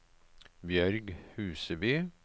Bjørg Huseby